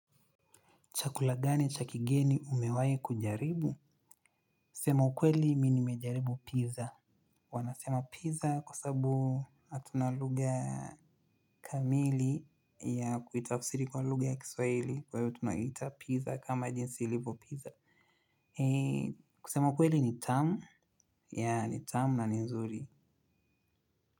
Chakula gani, cha kigeni umewahi kujaribu? Sema ukweli mimi nimejaribu pizza. Wanasema pizza kwa sababu hatuna lugha kamili ya kuitafsiri kwa lugha ya kiswahili kwa hiyo tunaiita pizza kama jinsi ilivyo pizza. Kusema ukweli ni tamu. Ya, ni tamu na ni nzuri.